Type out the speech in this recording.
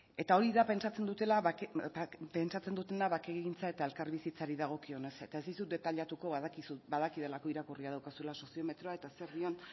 eta hori da pentsatzen dutena bakegintza eta elkarbizitzari dagokionez eta ez dizut detailatuko badakidalako irakurria daukazula soziometroa eta zer dion